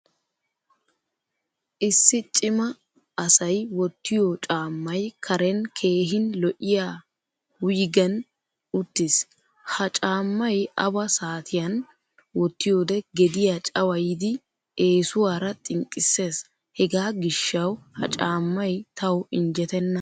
Issi cima asay wottiyo caamay karen keehin lo'iyaa huygen uttiis. Ha caamay awa saatiyan wottiyode gediyaa cawayiddi eesuwaara xinqqisees. Hega gishshawu ha caamay tawu injjetteenna.